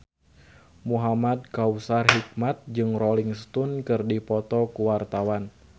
Muhamad Kautsar Hikmat jeung Rolling Stone keur dipoto ku wartawan